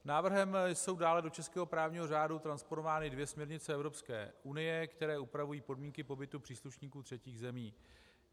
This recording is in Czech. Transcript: Návrhem jsou dále do českého právního řádu transponovány dvě směrnice Evropské unie, které upravují podmínky pobytu příslušníků třetích zemí.